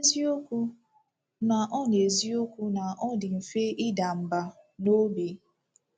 N'eziokwu na ọ N'eziokwu na ọ dị mfe ịda mbà n’obi.